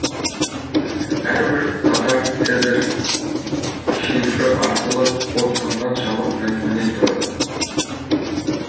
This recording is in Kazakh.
әрбір қатар цезарь шифры арқылы кодталған жабық мәтіннен тұрады